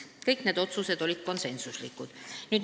Kõik need otsused olid konsensuslikud.